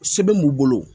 Sɛbɛn b'u bolo